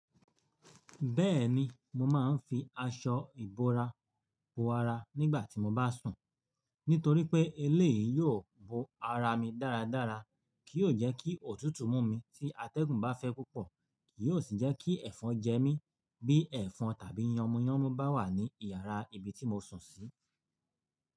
Bẹ́ẹ̀ni, mo máa ń fi aṣọ ìbora bo ara nígbà tí mo bá sùn, nítorí pé eléyìí yóò bo ara mi dáradára, kì yóò jẹ́ kí òtútù mú mi tí atẹ́gùn bá fẹ́ púpọ̀, kì yóò sì jẹ́ kí ẹ̀fọn jẹ mí bí ẹ̀fọn tàbí yànmúyánmú bá wà ní iyàrá ibi tí mo sùn sí.